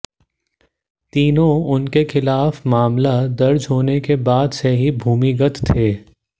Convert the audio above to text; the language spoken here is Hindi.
तीनों उनके खिलाफ मामला दर्ज होने के बाद से ही भूमिगत थे